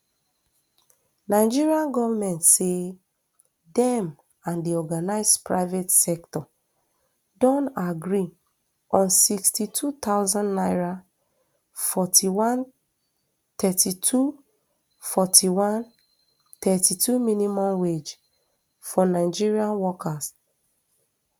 nigeria goment say dem and di organised private um sector don agree on sixty-two thousand naira forty-one thirty-two forty-one thirty-two minimum wage for nigeria workers